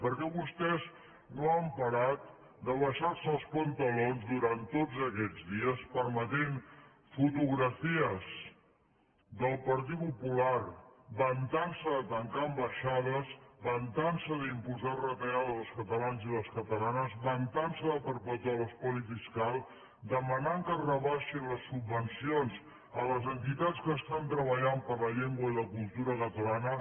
perquè vostès no han parat d’abaixar se els pantalons durant tots aquests dies permetent fotografies del partit popular vantant se de tancar ambaixades vantant se d’imposar retallades als catalanes i les catalanes vantant se de perpetuar l’espoli fiscal demanant que es rebaixin les subvencions a les entitats que estan treballant per la llengua i la cultura catalanes